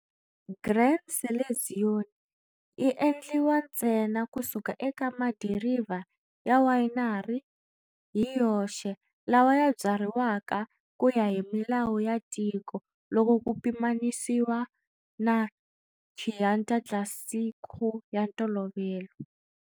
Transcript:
Gran Selezione yi endliwa ntsena kusuka eka madiriva ya winery hi yoxe lawa ya byariwaka kuya hi milawu yo tika loko ku pimanyisiwa na Chianti Classico ya ntolovelo.